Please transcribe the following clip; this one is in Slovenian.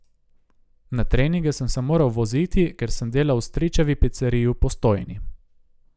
Na treninge sem se moral voziti, ker sem delal v stričevi piceriji v Postojni.